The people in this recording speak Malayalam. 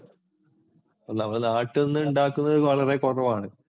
ഒന്നാമതെ നാട്ടിൽ നിന്നുണ്ടാക്കുന്ന വളരെ കുറവാണ്.